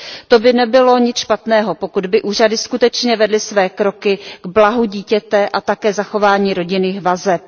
To by nebylo nic špatného, pokud by úřady skutečně vedly své kroky k blahu dítěte a také zachování rodinných vazeb.